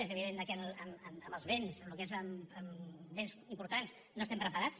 és evident que amb els vents el que és amb vents importants no estem preparats